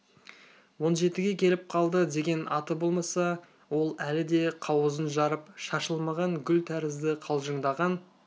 он жетіге келіп қалды деген аты болмаса ол әлі де қауызын жарып шашылмаған гүл тәрізді қалжыңдаған